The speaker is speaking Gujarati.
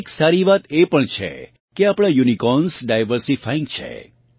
એક સારી વાત એ પણ છે કે આપણાં યુનિકોર્ન્સ ડાઇવર્સીફાઇંગ છે